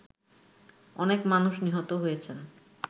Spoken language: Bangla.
অনেক মানুষ নিহত হয়েছেন